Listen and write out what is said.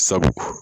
Sabu